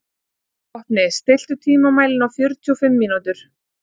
Vopni, stilltu tímamælinn á fjörutíu og fimm mínútur.